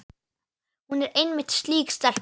Hún er einmitt slík stelpa.